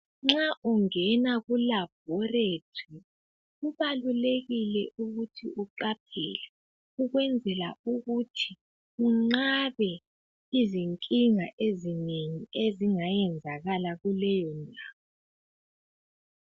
Nxa ungena kulaboratory kubalulekile ukuthi uqaphele ukwenzela ukuthi unqabe izinkinga ezinengi ezingayenzakala kuleyondawo.